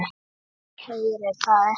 Heyri það ekki.